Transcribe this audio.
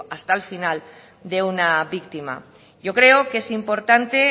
hasta el final de una víctima yo creo que es importante